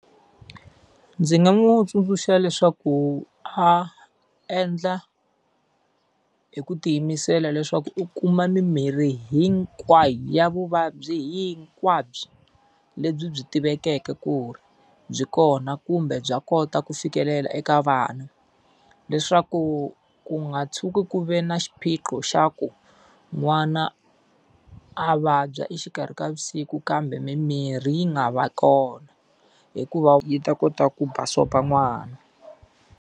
Ndzi nga n'wi tsundzuxa leswaku a endla hi ku tiyimisela leswaku u kuma mimirhi hinkwayo ya vuvabyi hinkwabyo lebyi byi tivekeke ku ri byi kona kumbe bya kota ku fikelela eka vana. Leswaku ku nga tshuki ku ve na xiphiqo xa ku n'wana a vabya exikarhi ka vusiku kambe mimirhi yi nga va kona, hikuva yi ta kota ku basopa n'wana.